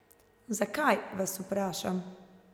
Zakaj, vas vprašam?